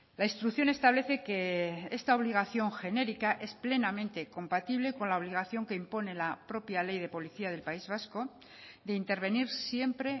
la instrucción establece que esta obligación genérica es plenamente compatible con la obligación que impone la propia ley de policía del país vasco de intervenir siempre